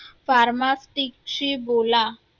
pharmacist शी बोला